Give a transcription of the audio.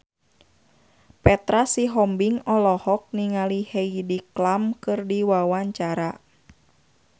Petra Sihombing olohok ningali Heidi Klum keur diwawancara